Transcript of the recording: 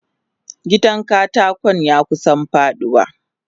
Gidan katakon yakusa faduwa.